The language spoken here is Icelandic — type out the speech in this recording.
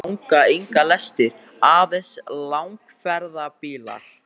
Hingað ganga engar lestir, aðeins langferðabílar.